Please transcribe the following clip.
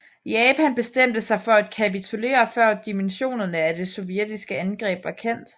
Japan bestemte sig for at kapitulere før dimensionerne af det sovjetiske angreb var kendt